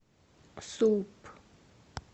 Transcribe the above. суп